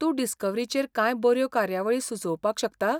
तूं डिस्कव्हरीचेर कांय बऱ्यो कार्यावळी सुचोवपाक शकता?